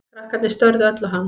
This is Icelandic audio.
Krakkarnir störðu öll á hann.